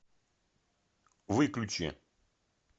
выключи